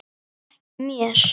En ekki mér.